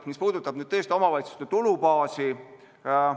See puudutab omavalitsuste tulubaasi.